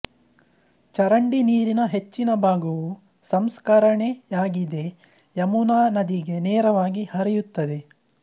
ಚರಂಡಿ ನೀರಿನ ಹೆಚ್ಚಿನ ಭಾಗವು ಸಂಸ್ಕರಣೆಯಾಗದೆ ಯಮುನಾ ನದಿಗೆ ನೇರವಾಗಿ ಹರಿಯುತ್ತದೆ